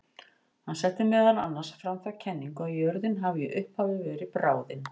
Hann setti meðal annars fram þá kenningu að jörðin hafi í upphafi verið bráðin.